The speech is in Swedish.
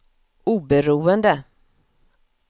oberoende